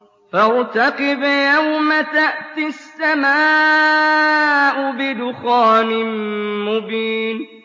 فَارْتَقِبْ يَوْمَ تَأْتِي السَّمَاءُ بِدُخَانٍ مُّبِينٍ